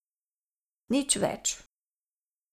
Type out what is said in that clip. Nič več.